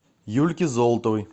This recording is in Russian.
юльке золотовой